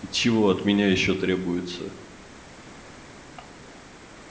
и чего от меня ещё требуется